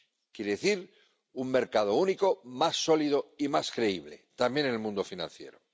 Quiere decir, un mercado único más sólido y más creíble, también en el mundo financiero.